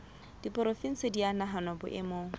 diporofensi di a nahanwa boemong